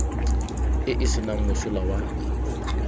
e e senang mosola wa